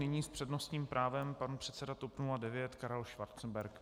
Nyní s přednostním právem pan předseda TOP 09 Karel Schwarzenberg.